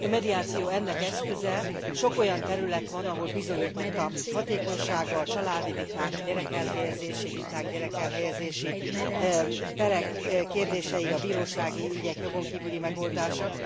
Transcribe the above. A mediáció ennek eszköze, sok olyan terület van, ahol bizonyított a hatékonysága a családi viták, a gyerekelhelyezési viták, gyerekelhelyezési perek kérdései, a bírósági ügyek jogon kívüli megoldása.